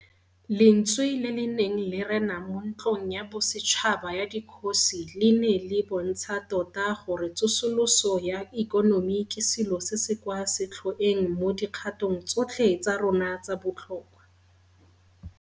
Lentswe le le neng le rena mo Ntlong ya Bosetšhaba ya Dikgosi le ne le bontsha tota gore tsosoloso ya ikonomi ke selo se se kwa setlhoeng mo dikgatong tsotlhe tsa rona tsa botlhokwa.